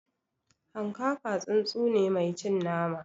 Hanƙaka tsuntsu ne mai cin nama